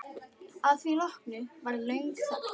Að því loknu varð löng þögn.